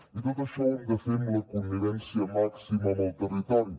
i tot això ho hem de fer amb la connivència màxima amb el territori